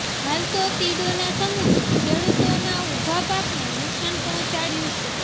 હાલ તો તીડોના સમૂહે ખેડૂતોના ઉભા પાકને નુકસાન પહોંચાડ્યું છે